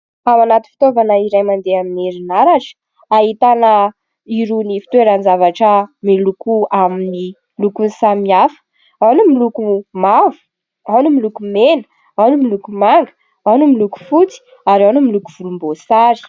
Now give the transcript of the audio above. Ao anaty fitaovana iray mandeha amin'ny herinaratra, ahitana irony fitoeran-javatra miloko amin'ny lokony samihafa : ao ny miloko mavo, ao ny miloko mena, ao ny miloko manga, ao ny miloko fotsy ary ao ny miloko volomboasary.